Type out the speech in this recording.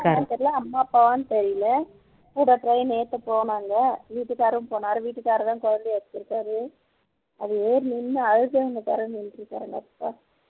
தெரியல அம்மா அப்பவான்னு தெரியல கூட train ஏத்த போனாங்க வீடுக்காரும் போனார் வீட்டுக்கார்தான் குழந்தைய வச்சிருக்கார் அது ஏறி நின்னு அழுத